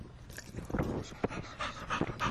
мелроуз плейс сезон три